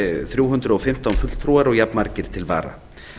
þrjú hundruð og fimmtán fulltrúar og jafnmargir til vara